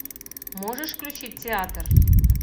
можешь включить театр